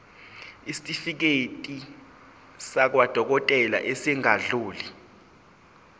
isitifiketi sakwadokodela esingadluli